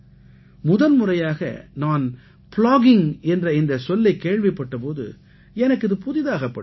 முதன்முறையாக நான் ப்ளாகிங் என்ற இந்தச் சொல்லைக் கேள்விப்பட்ட போது எனக்கு இது புதிதாகப் பட்டது